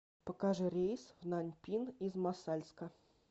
покажи рейс в наньпин из мосальска